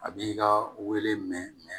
A b'i ka wele mɛnɛn